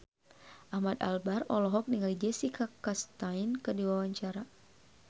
Ahmad Albar olohok ningali Jessica Chastain keur diwawancara